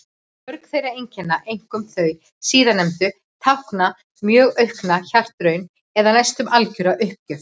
Mörg þessara einkenna, einkum þau síðastnefndu, tákna mjög aukna hjartaraun eða næstum algjöra uppgjöf.